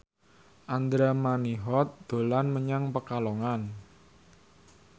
Andra Manihot dolan menyang Pekalongan